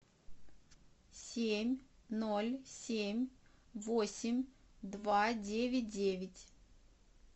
семь ноль семь восемь два девять девять